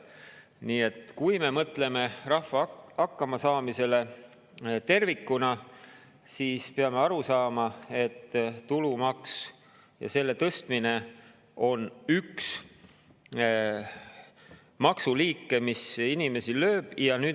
Nii et kui me mõtleme rahva hakkamasaamisele tervikuna, siis peame aru saama, et tulumaks ja selle tõstmine on üks maksuliik, mis inimesi lööb.